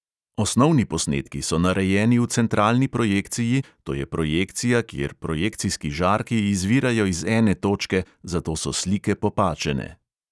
Osnovni posnetki so narejeni v centralni projekciji, to je projekcija, kjer projekcijski žarki izvirajo iz ene točke, zato so slike popačene.